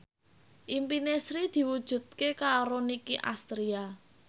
impine Sri diwujudke karo Nicky Astria